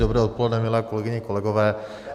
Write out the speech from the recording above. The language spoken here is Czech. Dobré odpoledne, milé kolegyně, kolegové.